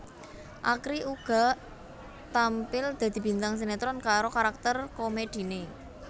Akri uga tampil dadi bintang sinetron karo karakter komediné